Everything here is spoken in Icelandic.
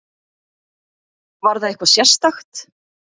Var það eitthvað sérstakt?